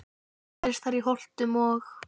Helst eru þær í Holtum og